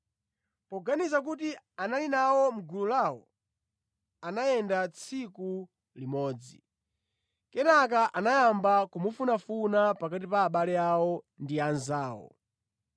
Poganiza kuti anali nawo mʼgulu lawo, anayenda tsiku limodzi. Kenaka anayamba kumufunafuna pakati pa abale awo ndi anzawo.